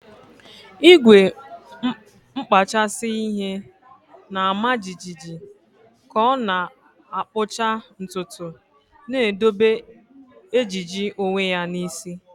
Igwe nkpachasị ihe na-ama jijiji ka ọ na-akpụcha ntutu, na-edobe ejiji onwe ya n'isi.